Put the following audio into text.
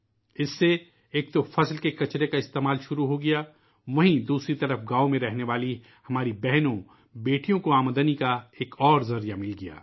اس سے ایک تو فصل کے کچرے کا استعمال شروع ہو گیا ، وہیں دوسری طرف گاؤں میں رہنے والی ہماری بہن بیٹیوں کو آمدنی کا ایک ذریعہ مل گیا